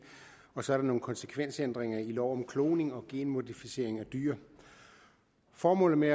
og så er der nogle konsekvensændringer i lov om kloning og genmodificering af dyr formålet med